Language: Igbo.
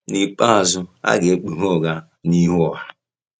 N’ikpeazụ, a ga-ekpughe ụgha n’ihu ọha.